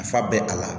Nafa bɛ a la